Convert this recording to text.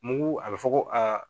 Mugu a be fɔ ko aa